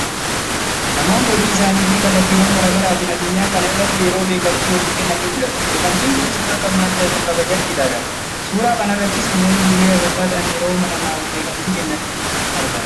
Namoonni hojii isaanii fi kallattiiwwan gara garaatiin addunyaa kana irratti yeroo beekamtii waliif kennan ni mul'atu. Beekamtiin kunis akka madda kabaajaatti ilaalama. Suura kanarrattis namoonni duree amantaa ta'an yeroo namaaf beekamtii kennan argama.